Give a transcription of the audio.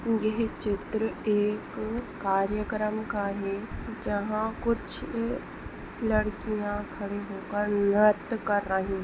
येह चित्र एक कार्यक्रम का है। जहा कुछ ल लड़कीया खड़ी होकर नृत्य कर रही है--